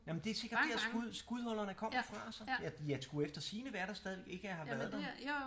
Jamen det er sikkert dér skud skudhullerne kommer fra så ja de skulle eftersigende være der stadigvæk ikke at jeg har været der